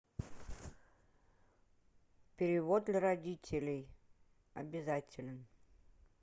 перевод для родителей обязателен